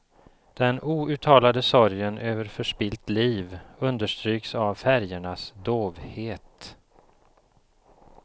Den outtalade sorgen över förspillt liv understryks av färgernas dovhet.